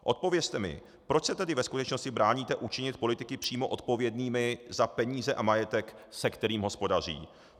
Odpovězte mi: Proč se tedy ve skutečnosti bráníte učinit politiky přímo odpovědnými za peníze a majetek, se kterým hospodaří?